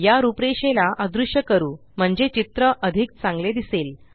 या रूपरेषेला अदृश्य करू म्हणजे चित्र अधिक चांगले दिसेल